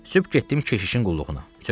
Sübh getdim keşişin qulluğuna.